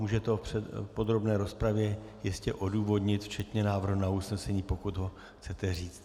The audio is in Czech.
Můžete ho v podrobné rozpravě jistě odůvodnit včetně návrhu na usnesení, pokud ho chcete říct.